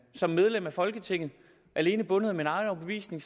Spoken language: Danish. som medlem af folketinget alene bundet af min egen overbevisning